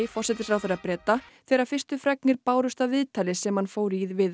forsætisráðherra Breta þegar fyrstu fregnir bárust af viðtali sem hann fór í við